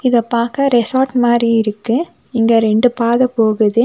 இத பாக்க ரெசார்ட் மாறி இருக்கு இங்க ரெண்டு பாதை போகுது.